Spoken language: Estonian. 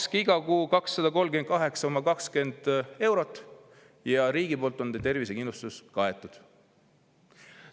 – makske igal kuul 238,2 eurot ja teie tervisekindlustus on riigi poolt kaetud.